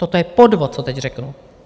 Toto je podvod, co teď řeknu!